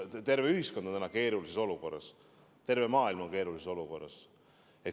Terve ühiskond on keerulises olukorras, terve maailm on keerulises olukorras.